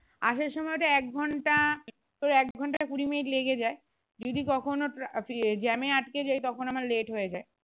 আসার সময়ে ওটা এক ঘন্টা তোর এক ঘন্টা কুড়ি মিনিট লেগে যায় যদি কখনো traffic jam এ আটকিয়ে যায় তখন আমার late হয়ে যায়